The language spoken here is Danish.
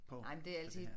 Ej men det altid